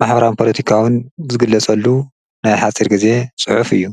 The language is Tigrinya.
ማሕበራዊ ፓለቲካውን ዝግለፀሉ ናይ ሓፂር ግዜ ፅሑፍ እዩ።